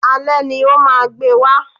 Alé ni o máa gbé wa